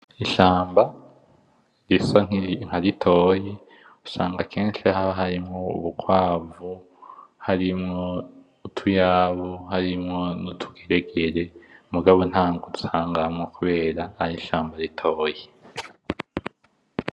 Ishamba risa nkaritoyi usanga kenshi haba harimwo ubukwavu ,harimwo utuyabu harimwo utugeregere mugabo ntangwe asangamwo kube ari ishamba ritoyi .